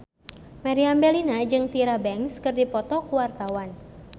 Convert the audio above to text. Meriam Bellina jeung Tyra Banks keur dipoto ku wartawan